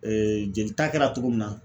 jelita kɛra togo min na